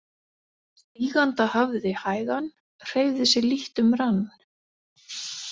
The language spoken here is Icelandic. Stíganda hafði hægan hreyfði sig lítt um rann.